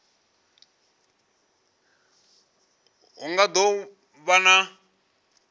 hu nga do vha na